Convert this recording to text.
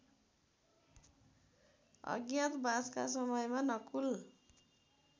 अज्ञातवासका समयमा नकुल